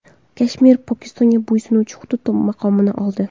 Kashmir Pokistonga bo‘ysunuvchi hudud maqomini oldi.